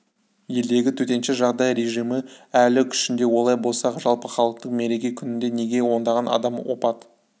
елдегі төтенше жағдай режимі әлі күшінде олай болса жалпыхалықтық мереке күнінде неге ондаған адам опат